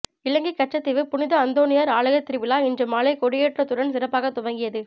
இலங்கை கச்சத்தீவு புனித அந்தோணியார் ஆலய திருவிழா இன்று மாலை கொடியேற்றத்துடன் சிறப்பாக துவங்கியது